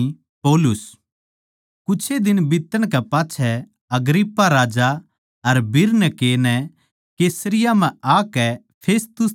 कुछे दिन बीतण कै पाच्छै अग्रिप्पा राजा अर बिरनीके नै कैसरिया म्ह आकै फेस्तुस तै भेंट करी